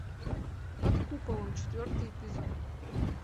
под куполом четвертый эпизод